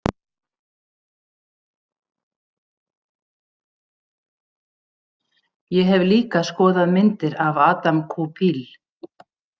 Ég hef líka skoðað myndir af Adam Koupil.